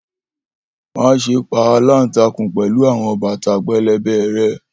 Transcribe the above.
Maṣe pa alantakun pẹlu awọn bata pẹlẹbẹ rẹ!